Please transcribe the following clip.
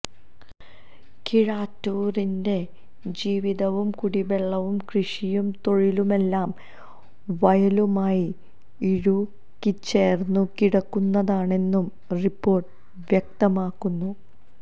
കിഴാറ്റൂരിന്റെ ജീവിതവും കുടിവെള്ളവും കൃഷിയും തൊഴിലുമെല്ലാം വയലുമായി ഇഴുകിച്ചേർന്നു കിടക്കുന്നതാണെന്നു റിപ്പോർട്ട് വ്യക്തമാക്കുന്നു